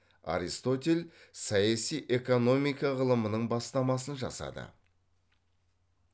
аристотель саяси экономика ғылымының бастамасын жасады